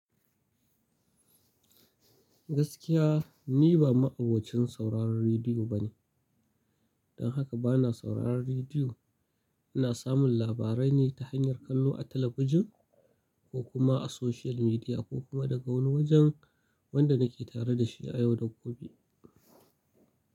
Gaskiya ni ba ma'abocin sauraron rediyo bane, don haka bana sauraron rediyo. Ina samun labarai ne ta hanyar kallo a talabijin ko kuma a social media ko kuma daga wani wajen wanda nake tare da shi a yau da gobe.